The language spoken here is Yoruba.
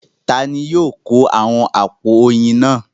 Ta ni yóò kó àwọn àpò oyin náà?